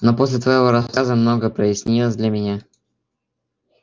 но после твоего рассказа многое прояснилось для меня